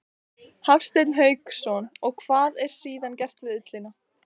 Hafsteinn Hauksson: Og hvað er síðan gert við ullina?